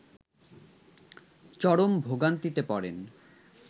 চরম ভোগান্তিতে পড়েন